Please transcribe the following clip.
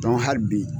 hali bi